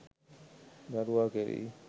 දරුවා කෙරෙහි